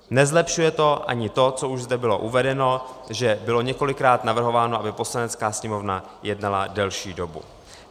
Nezlepšuje to ani to, co už zde bylo uvedeno, že bylo několikrát navrhováno, aby Poslanecká sněmovna jednala delší dobu.